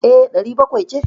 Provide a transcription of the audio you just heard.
E, ɗari bakwai ce.